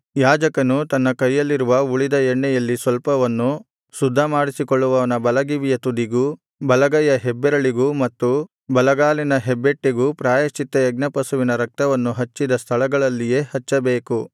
ಯಾಜಕನು ತನ್ನ ಕೈಯಲ್ಲಿರುವ ಉಳಿದ ಎಣ್ಣೆಯಲ್ಲಿ ಸ್ವಲ್ಪವನ್ನು ಶುದ್ಧ ಮಾಡಿಸಿಕೊಳ್ಳುವವನ ಬಲಗಿವಿಯ ತುದಿಗೂ ಬಲಗೈಯ ಹೆಬ್ಬೆರಳಿಗೂ ಮತ್ತು ಬಲಗಾಲಿನ ಹೆಬ್ಬೆಟ್ಟಿಗೂ ಪ್ರಾಯಶ್ಚಿತ್ತಯಜ್ಞ ಪಶುವಿನ ರಕ್ತವನ್ನು ಹಚ್ಚಿದ ಸ್ಥಳಗಳಲ್ಲಿಯೇ ಹಚ್ಚಬೇಕು